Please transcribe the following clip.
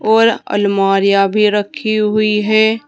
और अलमारियां भी रखी हुई है।